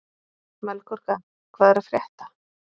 Melkorka, hvað er að frétta?